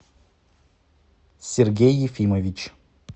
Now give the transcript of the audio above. сергей ефимович